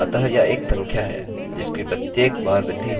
अतः यह एक संख्या है जिसकी प्रत्येक बार वृद्धि होने जा रही है